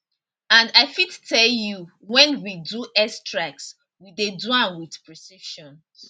and i fit tell you wen we do airstrikes we dey do am wit precision